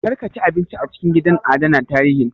Kar ka ci abinci a cikin gidan adana tarihin